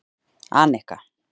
Anika